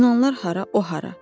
Yunanlılar hara, o hara.